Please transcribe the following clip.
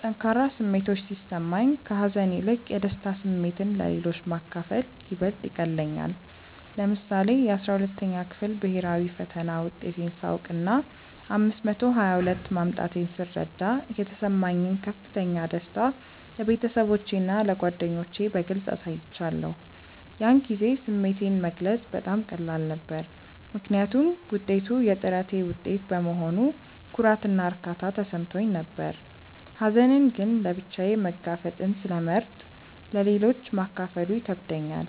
ጠንካራ ስሜቶች ሲሰማኝ፣ ከሀዘን ይልቅ የደስታ ስሜትን ለሌሎች ማካፈል ይበልጥ ይቀልለኛል። ለምሳሌ፣ የ12ኛ ክፍል ብሄራዊ ፈተና ውጤቴን ሳውቅና 522 ማምጣቴን ስረዳ የተሰማኝን ከፍተኛ ደስታ ለቤተሰቦቼና ለጓደኞቼ በግልጽ አሳይቻለሁ። ያን ጊዜ ስሜቴን መግለጽ በጣም ቀላል ነበር፤ ምክንያቱም ውጤቱ የጥረቴ ውጤት በመሆኑ ኩራትና እርካታ ተሰምቶኝ ነበር። ሀዘንን ግን ለብቻዬ መጋፈጥን ስለመርጥ ለሌሎች ማካፈሉ ይከብደኛል።